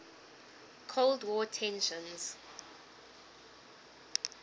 cold war tensions